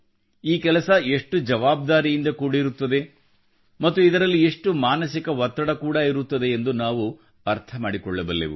ಈ ಕೆಲಸ ಎಷ್ಟು ಜವಾಬ್ದಾರಿಯಿಂದ ಕೂಡಿರುತ್ತದೆ ಮತ್ತು ಇದರಲ್ಲಿ ಎಷ್ಟು ಮಾನಸಿಕ ಒತ್ತಡ ಕೂಡಾ ಇರುತ್ತದೆ ಎಂದು ನಾವು ಅರ್ಥ ಮಾಡಿಕೊಳ್ಳಬಲ್ಲೆವು